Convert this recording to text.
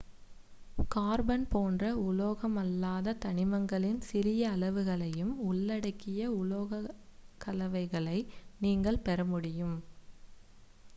carbon போன்ற உலோகமல்லாத தனிமங்களின் சிறிய அளவுகளையும் உள்ளடக்கிய உலோகக்கலவைகளை நீங்கள் பெறமுடியும்